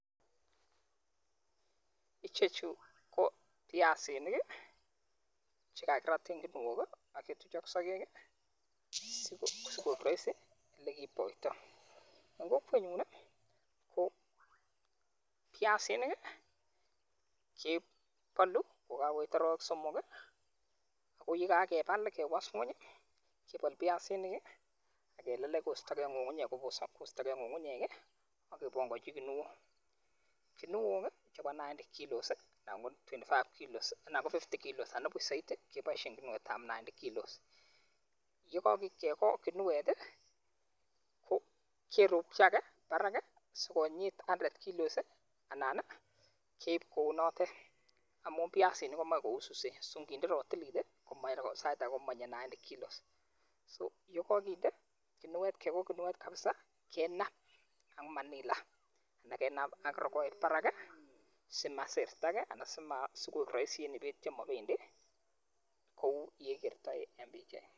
Ichechu cho piasinik che kakirat en kinuok, agetuch ak sagek, um sikoek rahisi ole kiiptoitoi. Eng' kokwet nyun, ko piasinik, kebolu ko kakoit arawek somok. Akoyekakebal kewas ng'uny, kebal piasinik akelelech koistokeiy ng'ung'unyek, kobosok koistokeiy ng'ung'unyek, akepanganchi kinuok. Kinuok chebo ninety kilos, anan ko twenty five kilos, anan ko fifty kilos anan ko saiti, keboishen kinuetab ninety kilos. Yekakoit kekony kinuet, ko keropchi age barak sikonyit hundred kilos, anan keib kounotet. Amu piasinik komache kowisisen. So nginde ratilit, ko sait age komanyie ninety kilos. So yekakinde kinuet, kekony kinuet kapsaa, kenap ak manila anan kenap ak rogoet barak, simasirtogey anan sima sikoek rahisi eng' biik chemobendi, kou yeigertoi en pichait ni